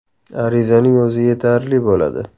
Arizaning o‘zi yetarli bo‘ladi.